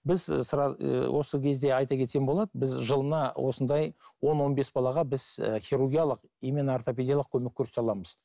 біз і осы кезде айта кетсем болады біз жылына осындай он он бес балаға біз і хирургиялық именно ортопедиялық көмек көрсете аламыз